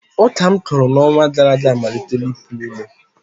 Ọka m kụrụ n’ọnwa gara aga amalitela ipụ ome